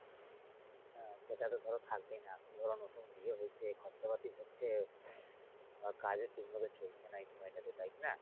হ্যা সেটা ধরো থাকবেই না, তুমি ধরো নতুন বিয়ে হইছে খরচাপাতি হচ্ছে আর কাজও ঠিকমতো চলছে না এই সময়টাতে তাই কিনা?